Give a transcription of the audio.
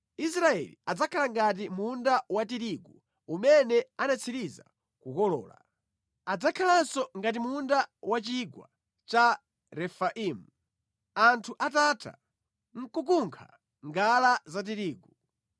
Israeli adzakhala ngati munda wa tirigu umene anatsiriza kukolola. Adzakhalanso ngati munda wa mʼchigwa cha Refaimu anthu atatha kukunkha ngala za tirigu.